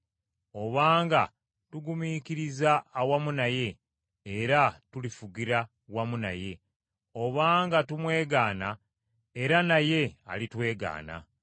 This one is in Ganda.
Obanga tugumiikiriza awamu naye, era tulifugira wamu naye. Obanga tumwegaana era naye alitwegaana.